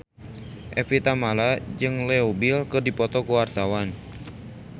Evie Tamala jeung Leo Bill keur dipoto ku wartawan